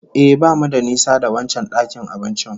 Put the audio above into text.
Ehh, bamu da nisa da wancan dakin abincin